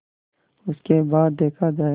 उसके बाद देखा जायगा